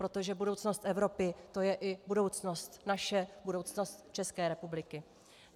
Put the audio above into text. Protože budoucnost Evropy, to je i budoucnost naše, budoucnost České republiky.